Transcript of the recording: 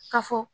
Ka fɔ